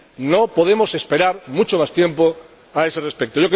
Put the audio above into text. No podemos esperar mucho más tiempo a ese respecto.